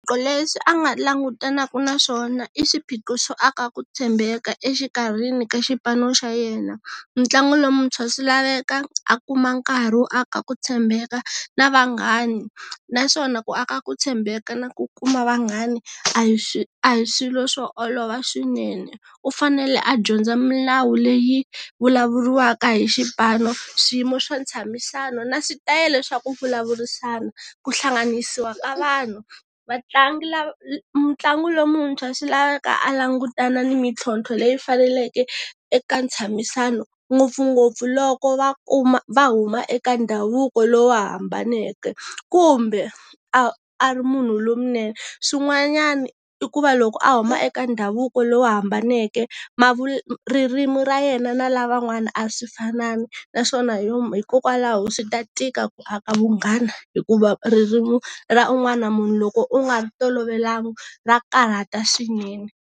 Swiphiqo leswi a nga langutanaka na swona i swiphiqo swo aka ku tshembeka exikarhi ka xipano xa yena. Mutlangi lon'wutshwa swi laveka a kuma nkarhi wo aka ku tshembeka na vanghani. Naswona ku aka ku tshembeka na ku kuma vanghani a hi swi a hi swilo swo olova swinene. U fanele a dyondza milawu leyi vulavuriwaka hi xipano, swiyimo swa ntshamisano na switayela swaku vulavurisana, ku hlanganisiwa ka vanhu. Vatlangi mutlangi lon'wutshwa swi laveka a langutana ni mitlhontlho leyi faneleke, eka ntshamisano ngopfungopfu loko va kuma va huma eka ndhavuko lowu hambaneke. Kumbe, a a ri munhu lowunene. Swin'wanyani i ku va loko a huma eka ndhavuko lowu hambaneke ma ririmi ra yena na lavan'wana a swi finani, naswona hi yo hikokwalaho swi ta tika ku aka vunghana hikuva ririmi ra un'wana na munhu loko u nga ri tolovelanga, ra karata swinene.